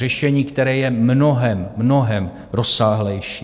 Řešení, které je mnohem, mnohem rozsáhlejší.